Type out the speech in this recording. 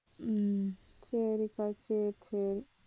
உம் சரிப்பா சரி சரி